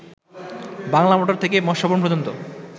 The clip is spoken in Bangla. বাংলা মোটর থেকে মৎস্য ভবন পর্যন্ত